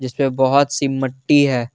यह बहोत सी मट्टी है।